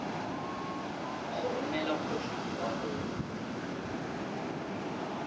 go romela kgotlang kwa go